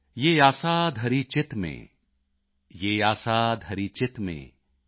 ਯਹ ਆਸਾ ਧਰਿ ਚਿਤ ਮੇਂ ਯਹ ਆਸਾ ਧਰਿ ਚਿੱਤ ਮੇਂ